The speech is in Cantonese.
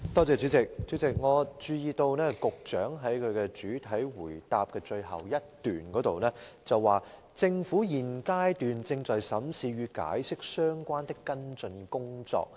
主席，我注意到局長在其主體答覆最後一段提到，"政府現階段正在審視與《解釋》相關的跟進工作。